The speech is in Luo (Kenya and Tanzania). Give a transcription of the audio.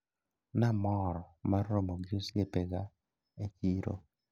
Namor mar romo gi osiepega e chiro.